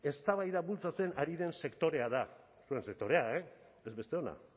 eztabaida bultzatzen ari den sektorea da zuen sektorea e ez besteona